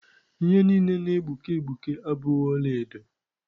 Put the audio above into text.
Ihe niile na-egbuke egbuke abụghị ọla edo.